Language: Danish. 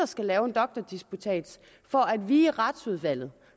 skal lave en doktordisputats for at vi i retsudvalget